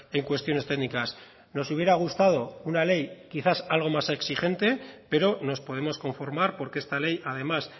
en cuestiones técnicas nos hubiera gustado una ley quizás algo más exigente pero nos podemos conformar porque esta ley además